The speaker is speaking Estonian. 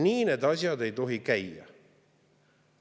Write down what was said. Nii need asjad ei tohi käia.